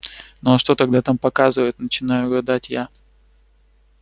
ну а что тогда там показывают начинаю гадать я